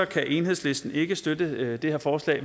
kan enhedslisten ikke støtte det her forslag